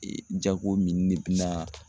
Ee jago mini de bɛ na